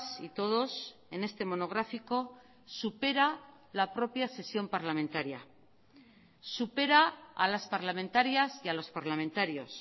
y todos en este monográfico supera la propia sesión parlamentaria supera a las parlamentarias y a los parlamentarios